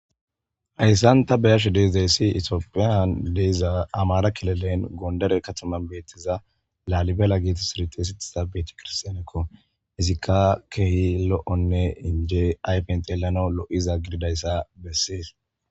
Hayssan ta beashe deizayssi ittophiyan deiza ammara killilen gondere kattaman bettiza lallibe gettetidi xeyssetiza bettekirsstsnneko iizika kehi lo'onne injje ayffen xellanawu lo'iza giididayssa besses.